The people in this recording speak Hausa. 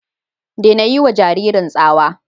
Daina yiwa jaririn tsawa.